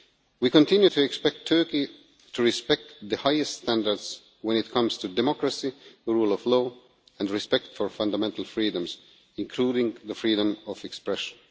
We continue to expect Turkey to respect the highest standards when it comes to democracy, the rule of law and respect for fundamental freedoms, including the freedom of expression.